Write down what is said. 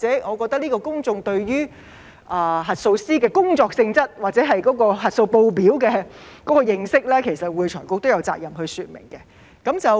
我覺得公眾對於核數師的工作性質或核數報表的認識，會財局都有責任說明。